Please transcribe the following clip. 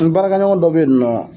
N baarakɛɲɔgɔn dɔ be yen nɔ